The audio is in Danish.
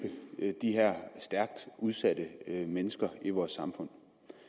de her stærkt udsatte mennesker i vores samfund